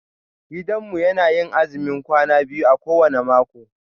Gidanmu yana yin azumin kwana biyu a kowane mako.